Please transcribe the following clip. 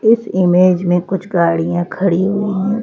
इस इमेज में कुछ गाड़ियां खड़ी हुई है।